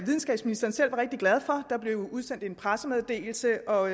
videnskabsministeren selv var rigtig glad for der blev udsendt en pressemeddelelse og